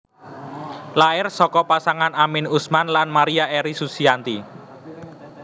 Lair saka pasangan Amin Usman lan Maria Eri Susianti